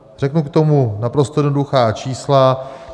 Řeknu k tomu naprosto jednoduchá čísla.